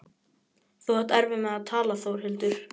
Þú átt erfitt með að tala Þórhildur.